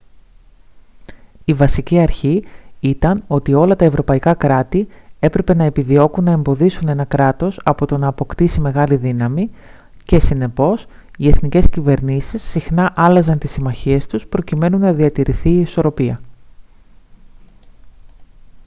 η βασική αρχή ήταν ότι όλα τα ευρωπαϊκά κράτη έπρεπε να επιδιώκουν να εμποδίσουν ένα κράτος από το να αποκτήσει μεγάλη δύναμη και συνεπώς οι εθνικές κυβερνήσεις συχνά άλλαζαν τις συμμαχίες τους προκειμένου να διατηρηθεί η ισορροπία